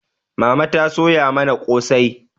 Mama ta soya mana kosai